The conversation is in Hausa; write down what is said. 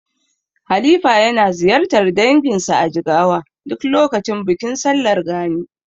Halifa yana ziyartar danginsa a Jigawa duk lokacin bikin sallar Gani.